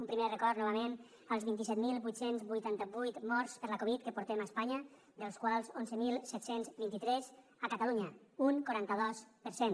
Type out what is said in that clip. un primer record novament als vint set mil vuit cents i vuitanta vuit morts per la covid que portem a espanya dels quals onze mil set cents i vint tres a catalunya un quaranta dos per cent